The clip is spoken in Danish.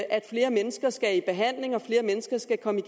at flere mennesker skal i behandling og at flere mennesker skal komme